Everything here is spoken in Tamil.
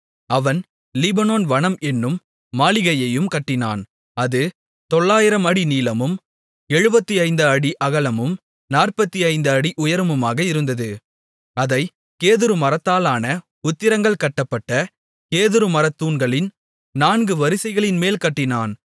அவன் லீபனோன் வனம் என்னும் மாளிகையையும் கட்டினான் அது 900 அடி நீளமும் 75 அடி அகலமும் 45 அடி உயரமுமாக இருந்தது அதைக் கேதுரு மரத்தாலான உத்திரங்கள் கட்டப்பட்ட கேதுருமரத்தூண்களின் நான்கு வரிசைகளின்மேல் கட்டினான்